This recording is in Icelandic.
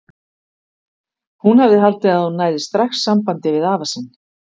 Hún hafði haldið að hún næði strax sambandi við afa sinn.